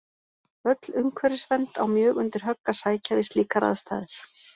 Öll umhverfisvernd á mjög undir högg að sækja við slíkar aðstæður.